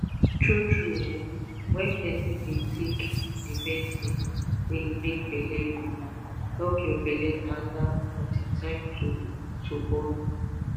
tru tru eh wen pesin dey take di medicine wey dey make belle go epp your belle tanda until time to to born